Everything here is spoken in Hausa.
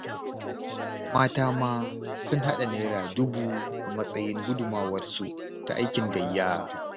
Mata ma sun haɗa Naira dubu a matsayin gudunmawarsu ta aikin gayya.